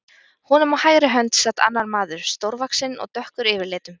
Honum á hægri hönd sat annar maður, stórvaxinn og dökkur yfirlitum.